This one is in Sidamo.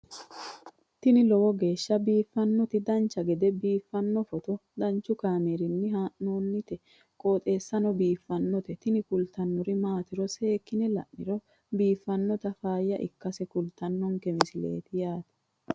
tini lowo geeshsha biiffannoti dancha gede biiffanno footo danchu kaameerinni haa'noonniti qooxeessa biiffannoti tini kultannori maatiro seekkine la'niro biiffannota faayya ikkase kultannoke misileeti yaate